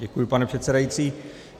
Děkuji, pane předsedající.